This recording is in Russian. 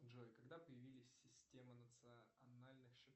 джой когда появились системы национальных